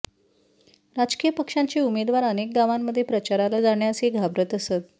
राजकीय पक्षांचे उमेदवार अनेक गावांमध्ये प्रचाराला जाण्यासही घाबरत असत